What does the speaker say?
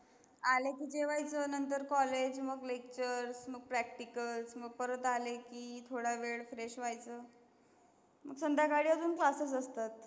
आले की जेवायचं नंतर college मग lecture मग practical मग परत आले की थोडा वेळ Fresh व्हायचं मग संध्याकाळी अजून classes असतात.